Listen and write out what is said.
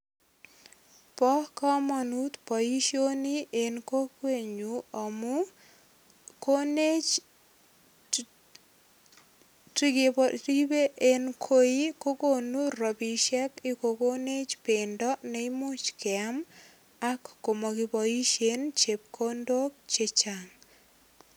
Bo kamanut boisioni en kokwenyu amu konech chekeribe en koi ko konu rapisiek, ak kokonech bendo neimuch keam ak komokiboisien chepkondok che chang.